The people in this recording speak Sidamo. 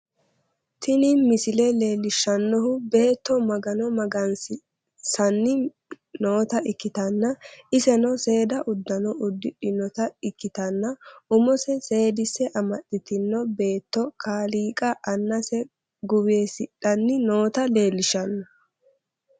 Tini misile leellishshannohu beetto magano magansiissanni noota ikkitanna, iseno seeda uddano uddidhinota ikkitanna, umoseno seedise amaxxitino beetto kaaliiqa annase guwisidhanni noota leellishshanno.